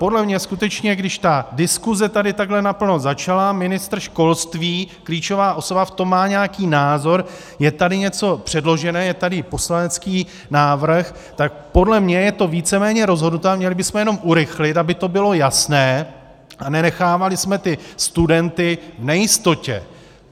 Podle mě skutečně, když ta diskuze tady takhle naplno začala, ministr školství, klíčová osoba, v tom má nějaký názor, je tady něco předložené, je tady poslanecký návrh, tak podle mě je to víceméně rozhodnuté a měli bychom jenom urychlit, aby to bylo jasné a nenechávali jsme ty studenty v nejistotě.